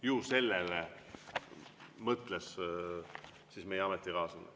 Ju sellele mõtles meie ametikaaslane.